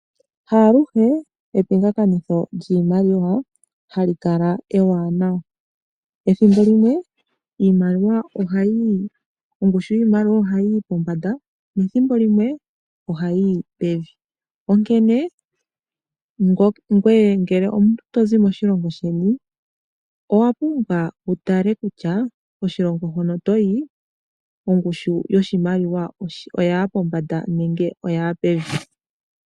Ha aluhe epingakanitho lyiimaliwa hali kala ewaanawa. Ethimbo limwe ongushu yiimaliwa ohayi yi pombanda nethimbo limwe ohayi yi pevi. Ngele omuntu oto zi moshilongo sheni, owa pumbwa wu tale kutya koshilongo hono to yi ongushu yoshimaliwa oya ya pombanda nenge oya ya pevi.